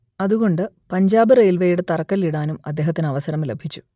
അതുകൊണ്ട് പഞ്ചാബ് റെയിൽവേയുടെ തറക്കല്ലിടാനും അദ്ദേഹത്തിന് അവസരം ലഭിച്ചു